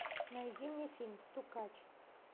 найди мне фильм стукач